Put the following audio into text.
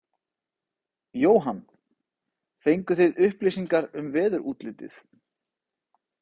Jóhann: Fenguð þið upplýsingar um veðurútlitið?